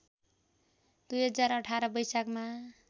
२०१८ वैशाखमा